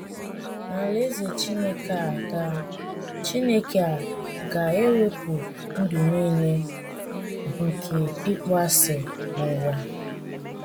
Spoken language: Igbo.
N’Alaeze Chineke a ga Chineke a ga - ewepụ ụdị nile nke ịkpọasị n’ụwa